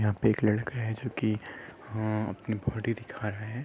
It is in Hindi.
यहां पर एक लड़का है जो की अ अपनी बॉडी दिखा रहा है।